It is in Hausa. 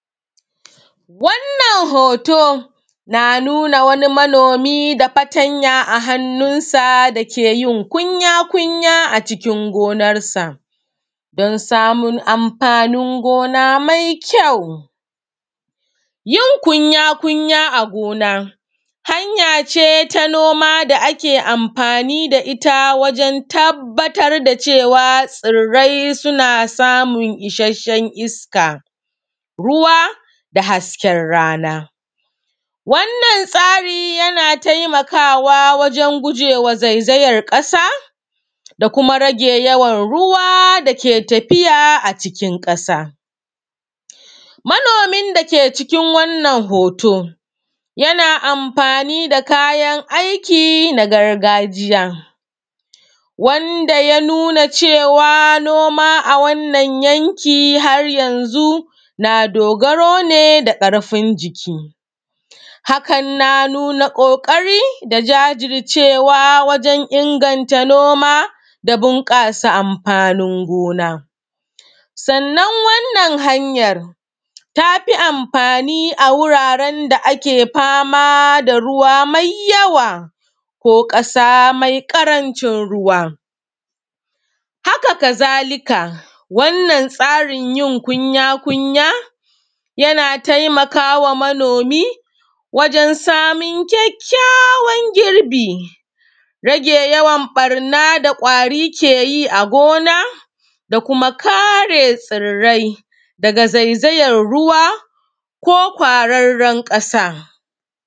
Wannan hoto na nuna wani manomi ɗauke da fatanya a hannunsa yana yi kunya-kunya a cikin gonarsa don samun anfanin gona mai kyau. Yin kunya-kunya hanya ce ta noma da ake anfani da ita wajen tabbatar da cewa tsirrai suna samun isashshen iska, ruwa da hasken rana. Wannan tsarin yana taimakawa wajen gujewa zayzayan ƙasa da kuma rage yawan ruwa dake tafiya a cikin ƙasa, manomin dake cikin wannan hoto yana anfani da kayan aiki na gargajiya wanda ya nuna cewa noma a wannan yanki har yanzu na dogaro ne da ƙarfin jiki. Hakan na nuna ƙoƙari da jajircewa wajen inganta noma da da ɓunƙasa anfanin gona, sannan wannan hanyan tafi anfani a wuraren da ruwa maiyawa ko ƙasa me ƙarancin ruwa, hakazalika wannan tsarin yin kuya-kunya yana taimakawa wajen samun kyakykyawan girbi, rage yawan ɓanna da kwari ke yi a gona da kuma kare tsirrari daga zayzayan ruwa ko kwararren ƙasa.